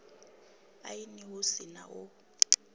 aini hu si na u